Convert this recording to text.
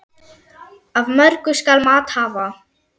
Af mörgu skal mat hafa.